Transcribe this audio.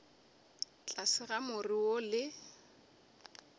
tlase ga more wo le